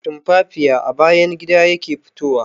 Tumfafiya a bayan gida yake fitowa.